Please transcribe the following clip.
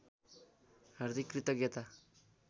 हार्दिक कृतज्ञता